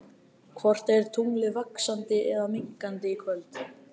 Hvort er tunglið vaxandi eða minnkandi í kvöld?